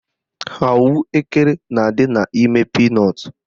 Ahụekere na-adị n'ime pinọtụ